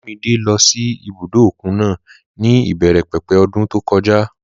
Olúmidé lọ sí ibùdó òkun náà ní ìbẹ̀rẹ̀ pẹ̀pẹ̀ ọdún tó kọjá